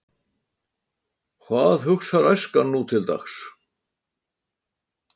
Hvað hugsar æskan nútildags?